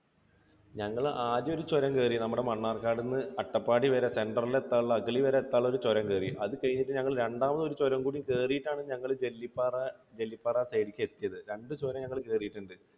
ഞങ്ങൾ ആദ്യം ഒരു ചുരം കേറി നമ്മുടെ മണ്ണാർക്കാട് നിന്ന് അട്ടപ്പാടി വരെ center ൽ എത്താനുള്ള, അഗളി വരെ എത്താനുള്ള ഒരു ചുരം കേറി. അതുകഴിഞ്ഞ് ഞങ്ങൾ രണ്ടാമത് ഒരു ചുരം കൂടി കയറിയിട്ട് ആണ് ഞങ്ങൾ ജെല്ലിപ്പാറ, ജെല്ലിപ്പാറ side ലേക്ക് എത്തിയത്. രണ്ടു ചുരം ഞങ്ങൾ കയറിയിട്ടുണ്ട്.